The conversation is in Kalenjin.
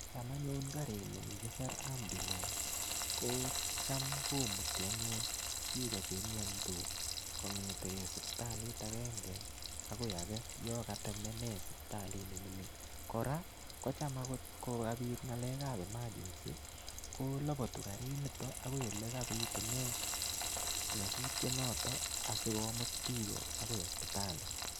Cham anyun karit ni kikisir ambulance, kocham komuti anyun biik ko chemiandos kong'etegei siptalit agenge agoi age, yakatemene sipitalit ne mining. Kora, kocham agot kokabit ng'alekap emergency, ko labatu karit niton akoi ole kabitune nyasutiet noton, asikomit biik akoi sipitali.